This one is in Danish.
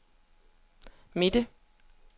midte